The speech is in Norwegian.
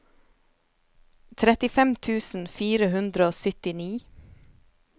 trettifem tusen fire hundre og syttini